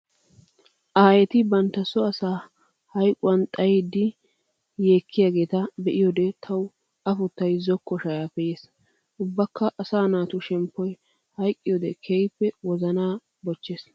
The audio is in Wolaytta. Aayetti bantta so asaa hayqquwan xayiddi yeekkiyagetta be'iyoode tawu afuttay zokko shayappe yeesi. Ubbakka asaa naatu shemppoy hayqqiyode keehippe wozana bochchees.